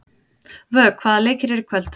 Vök, hvaða leikir eru í kvöld?